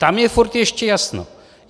Tam je stále ještě jasno.